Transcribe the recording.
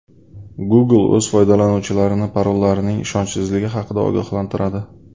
Google o‘z foydalanuvchilarini parollarining ishonchsizligi haqida ogohlantiradi.